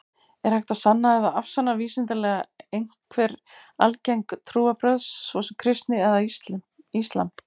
Er hægt að sanna eða afsanna vísindalega einhver algeng trúarbrögð, svo sem kristni eða islam?